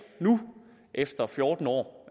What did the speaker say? efter fjorten år